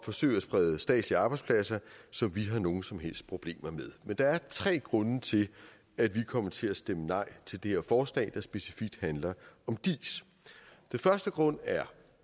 forsøge at sprede statslige arbejdspladser som vi har nogen som helst problemer med men der er tre grunde til at vi kommer til at stemme nej til det her forslag der specifikt handler om diis den første grund er